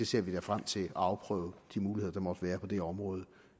ser da frem til at afprøve de muligheder der måtte være på det område